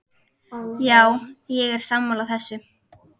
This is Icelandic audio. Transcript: Já, ég er sammála þessu.